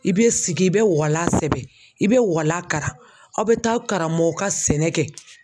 I be sigi i be walan sɛbɛ i be walan kara aw be taa karamɔgɔ ka sɛnɛ kɛ